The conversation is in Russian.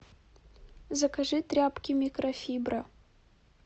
закажи тряпки микрофибра